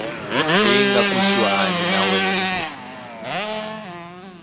leyi nga kusuhani na wena